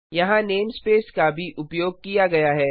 यहाँ नेमस्पेस का भी उपयोग किया गया है